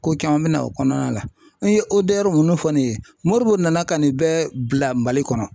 Ko caman bɛ na o kɔnɔna la n ye minnu fɔ nin ye Moribo nana ka nin bɛɛ bila Mali kɔnɔ.